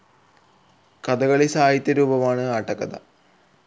കഥകളി സാഹിത്യ രൂപമാണ് ആട്ടക്കഥ.